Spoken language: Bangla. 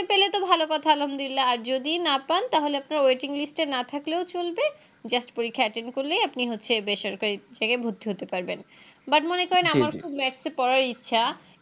পেলে তো ভালো কথা আলহামদুলিল্লাহ আর যদি না পান তাহলে আপনার Waiting list এ না থাকলেও চলবে Just পরীক্ষা Attend করলেই আপনি হচ্ছে বেসরকারি থেকে ভর্তি হতে পারবেন But মনে করেন আমার খুব Maths এ পড়ার ইচ্ছা